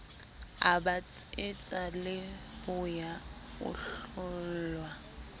a betsetsa leboya o hlollwa